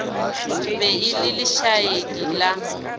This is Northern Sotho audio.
be e le lešaedi la